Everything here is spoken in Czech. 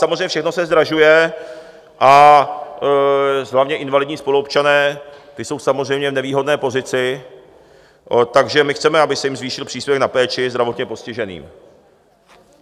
Samozřejmě všechno se zdražuje, a hlavně invalidní spoluobčané, ti jsou samozřejmě v nevýhodné pozici, takže my chceme, aby se jim zvýšil příspěvek na péči zdravotně postiženým.